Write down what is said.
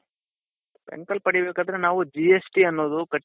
bank ಅಲ್ಲಿ ಪಡಿ ಬೇಕಾದ್ರೆ ನಾವು GSTಅನ್ನೋದು